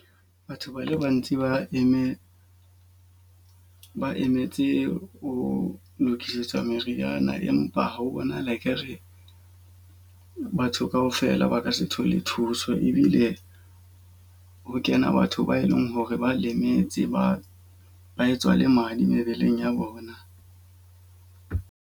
Batho bana ba ntse ba eme ba emetse ho lokisetswa meriana empa ho bonahala e ka re batho ka ka ofela ba ka se thole thuso. Ebile ha kena batho ba eleng hore ba lemetse ba ba etswa le madi mebeleng ya bona.